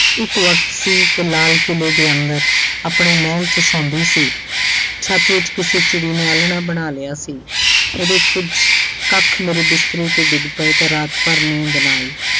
ਇੱਕ ਵਖਤ ਸੀ ਕਿ ਲਾਲ ਕਿਲ੍ਹੇ ਦੇ ਅੰਦਰ ਆਪਣੇ ਮਹਿਲ 'ਚ ਸੌਂਦੀ ਸੀ ਛੱਤ ਵਿੱਚ ਕਿਸੇ ਚਿੱੜ੍ਹੀਂ ਨੇ ਆਲਣਾ ਬਣਾ ਲਿਆ ਸੀ ਉਹਦੇ ਕੁੱਝ ਕੱਖ ਮੇਰੇ ਬਿਸਤਰੇ ਤੇ ਡਿੱਗ ਪਏ ਤਾਂ ਰਾਤ ਭਰ ਨੀਂਦ ਨਾ ਆਈ।